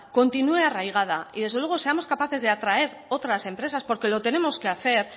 continúe arraigada y desde luego seamos capaces de atraer otras empresas porque lo tenemos que hacer